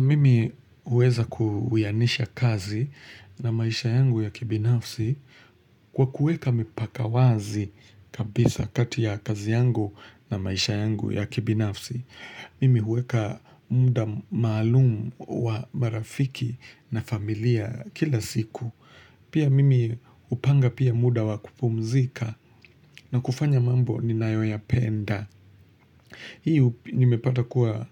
Mimi huweza kuwianisha kazi na maisha yangu ya kibinafsi kwa kueka mipaka wazi kabisa kati ya kazi yangu na maisha yangu ya kibinafsi. Mimi huweka muda maalumu wa marafiki na familia kila siku. Pia mimi hupanga pia muda wa kupumzika na kufanya mambo ninayoyapenda. Hii nimepata kuwa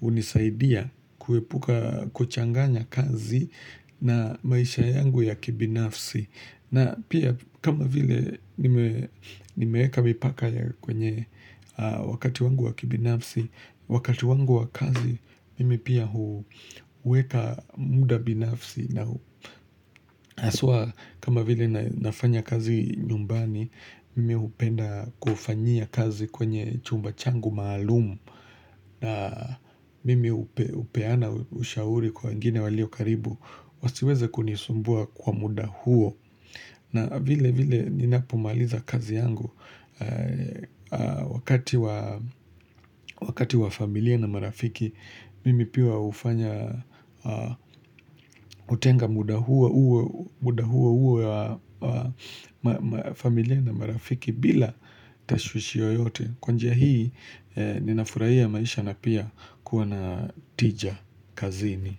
hunisaidia kuepuka kuchanganya kazi na maisha yangu ya kibinafsi. Na pia kama vile nimeweka mipaka kwenye wakati wangu wa kibinafsi, wakati wangu wa kazi mimi pia huweka muda binafsi. Na haswa kama vile nafanya kazi nyumbani Mimi hupenda kufanyia kazi kwenye chumba changu maalumu na mimi hupeana ushauri kwa wengine walio karibu Wasiweze kunisumbua kwa muda huo na vile vile ninapomaliza kazi yangu Wakati wa familia na marafiki Mimi pia hufanya hutenga muda huo muda huo uwe wa familia na marafiki bila tashushio yoyote Kwa njia hii ninafurahia maisha na pia kuwa na tija kazini.